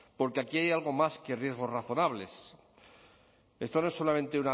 porque aquí hay algo más que riesgos razonables esto no es solamente